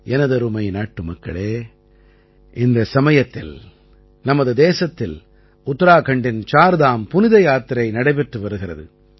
எனதருமை நாட்டுமக்களே இந்த சமயத்தில் நமது தேசத்தில் உத்தராகண்டின் சார்தாம் புனித யாத்திரை நடைபெற்று வருகிறது